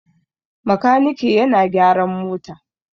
Makaniki yana gyaran mota.